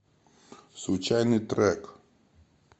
случайный трек